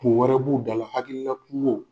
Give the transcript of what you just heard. Kun wɛrɛ b'u dala, hakilila kuŋo.